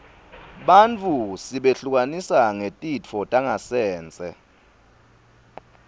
bantfu sibehlukanisa ngetitfo tangasense